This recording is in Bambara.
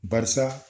Barisa